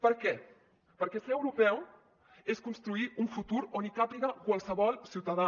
per què perquè ser europeu és construir un futur on hi càpiga qualsevol ciutadà